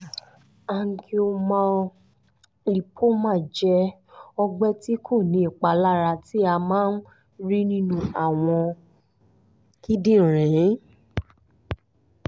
angiomyolipoma jẹ́ ọgbẹ́ tí kò ní ìpalara tí a máa ń rí nínú àwọn kíndìnrín